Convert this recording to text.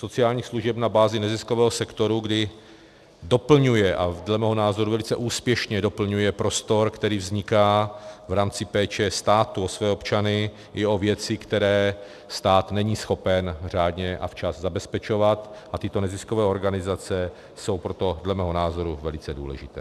Sociálních služeb na bázi neziskového sektoru, kdy doplňuje, a dle mého názoru velice úspěšně doplňuje, prostor, který vzniká v rámci péče státu o své občany i o věci, které stát není schopen řádně a včas zabezpečovat, a tyto neziskové organizace jsou proto dle mého názoru velice důležité.